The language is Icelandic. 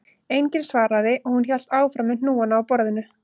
Enginn svaraði og hún hélt áfram með hnúana á borðinu